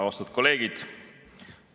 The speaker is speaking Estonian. Austatud kolleegid!